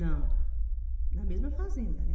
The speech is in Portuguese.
Não, na mesma fazenda, né?